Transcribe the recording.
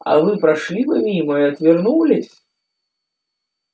а вы прошли бы мимо и отвернулись